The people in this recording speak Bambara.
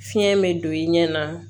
Fiɲɛ bɛ don i ɲɛ na